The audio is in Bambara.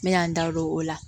N bɛ yan da o la